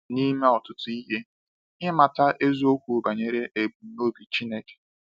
N’ime ọtụtụ ihe, ịmata eziokwu banyere ebumnobi Chineke.